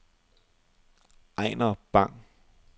Ejnar Bang